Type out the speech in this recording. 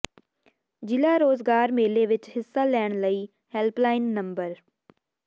ਜ਼ਿਲ੍ਹਾ ਰੋਜ਼ਗਾਰ ਮੇਲੇ ਵਿੱਚ ਹਿੱਸਾ ਲੈਣ ਲਈ ਹੈਲਪਲਾਈਨ ਨੰਬਰ